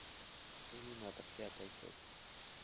терминатор пятая часть